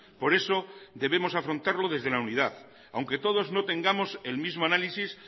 por eso debemos afrontarlo desde la unidad aunque todos no tengamos el mismo análisis